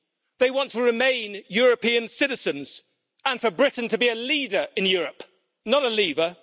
They want to remain European citizens and for Britain to be a leader in Europe, not a leaver.